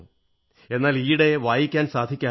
എന്നാൽ ഈയിടെ വായിക്കാൻ സാധിക്കാറില്ല